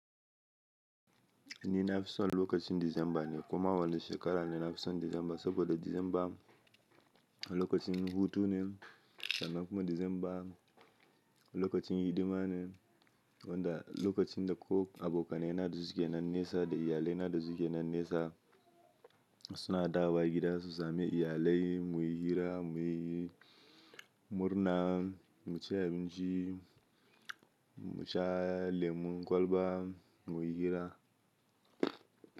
Ni nafison lokacin Disamba ne, koma wani shekara ne nafison Disamba saboda Disamba lokacin hutune, sannan kuma Disamba lokacin hidimane, wanda lokacin da ko abokanai na da suke na nesa da iyalai na da suke na nesa suna dawowa gida su sami iyalai muyi hira muyi murna, mu ci abinci, mu sha lemon kwalba muyi hira.